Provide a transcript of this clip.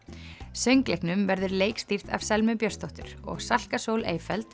söngleiknum verður leikstýrt af Selmu Björnsdóttur og Salka Sól